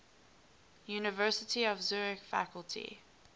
university of zurich faculty